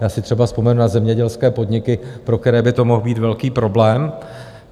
Já si třeba vzpomenu na zemědělské podniky, pro které by to mohl být velký problém.